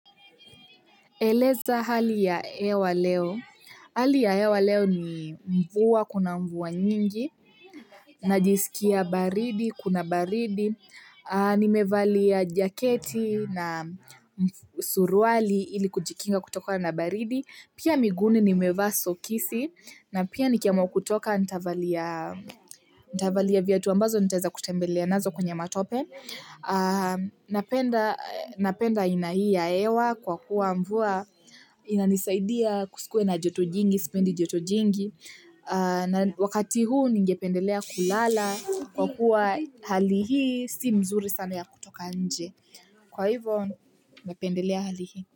Eleza hali ya ewa leo. Hali ya hewa leo ni mvua, kuna mvua nyingi, najisikia baridi, kuna baridi, nimevalia jaketi na suruali ili kujikinga kutokana na baridi, pia miguni nimevaa sokisi, na pia nikiamwa kutoka ntavaliaa nitavalia viatu ambazo nitaeza kutembelea nazo kwenye matope. Napenda aina hii ya ewa kwa kuwa mvua inanisaidia kusikue na joto jingi, spendi joto jingi. Wakati huu ningependelea kulala kwa kuwa hali hii si mzuri sana ya kutoka nje. Kwa hivo napendelea hali hii.